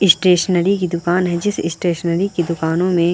stationery की दुकान है जिस स्टेसनरी की दुकानों में --